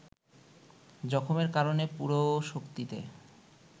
জখমের কারণে পুরো শক্তিতে